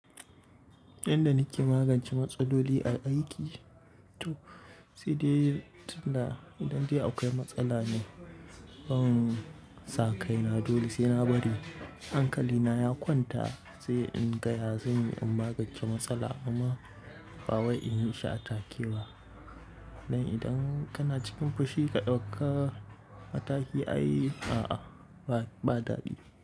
Inda nake magance matsaloli a aiki, to sai dai tana idan dai akwai matsala ne, ban sa kaina dole sai na bari hankali na ya kwanta sai in gaya zanyi in magance matsala amma ba wai in yi shi a take ba. Dan idan kana cikin fushi ka ɗauka mataki ai a'a, ba daɗi.